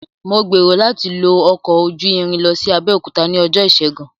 Mò gbèrò láti lo ọkọ ojú irin lọ sí Abẹ́òkúta ní ọjọ́ ìṣègun